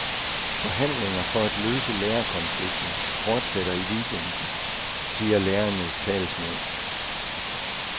Forhandlinger for at løse lærerkonflikten fortsætter i weekenden, siger lærernes talsmænd.